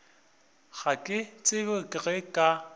ga ke tsebe ge ba